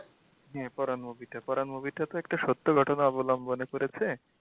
এই পরান movie টা Paran movie টা তো একটা সত্য ঘটনা অবলম্বনে করেছে।